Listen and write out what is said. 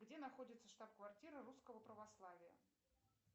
где находится штаб квартира русского православия